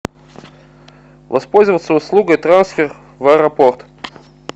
воспользоваться услугой трансфер в аэропорт